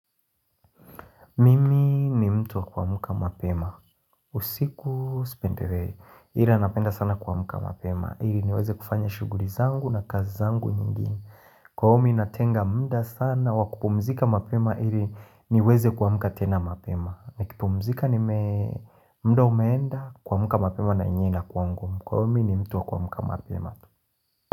Mimi ni mtu wa kuamka mapema. Usiku sipendelei. Ila napenda sana kuamka mapema. Ili niweze kufanya shuguli zangu na kazi zangu nyingine. Kwa umi natenga mda sana wa kupumzika mapema. Iri niweze kwa muka tena mapema. Na kupumzika ni mda umeenda kuamka mapema na naenda kwangu. Kwa umi ni mtu wa kwa muka mapema.